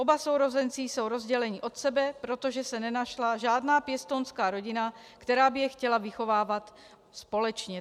Oba sourozenci jsou rozděleni od sebe, protože se nenašla žádná pěstounská rodina, která by je chtěla vychovávat společně.